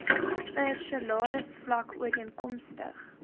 per salarisvlak ooreenkomstig